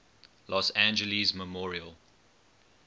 los angeles memorial